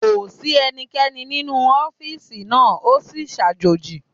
Kò sí ẹnikẹ́ni nínú ọ́fìsì náà, o sì sàjòji